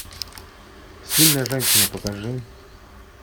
сильная женщина покажи